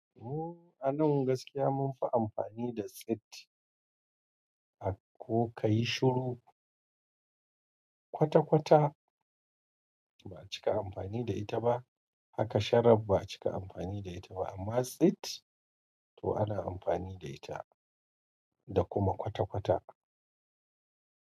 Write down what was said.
Ooo, a nan gaskiya munfi amfani da tsitti. Ko kayi shuru, ƙwata ƙwata ba'a cika amfani da ita ba. Haka sharab ba'a cika amfani da ita ba. Amma tsit to ana amfani da ita da kuma ƙwata ƙwata.